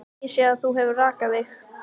Ég sé að þú hefur rakað þig.